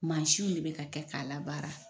Maasiw de bɛ ka kɛ k'a la baara.